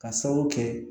Ka sababu kɛ